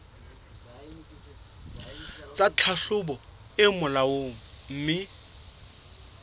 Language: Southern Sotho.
tsa tlhahlobo tse molaong mme